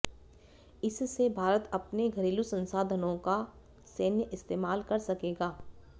इससे भारत अपने घरेलू संसाधनों का सैन्य इस्तेमाल कर सकेगा